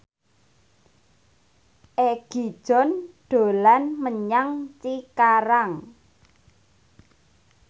Egi John dolan menyang Cikarang